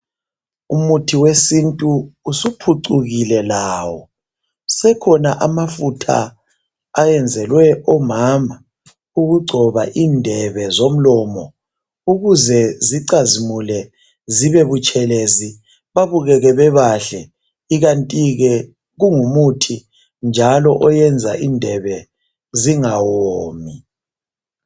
Umuthi wesintu usuphucukile lawo. Asekhona amafutha ayenzelwe omama, ukugcoba indebe zomlomo ukuze zicazimule zibebutshelezi, babukeke bebahle, ikanti ke kungumuthi njalo oyenza indebe zingawomi.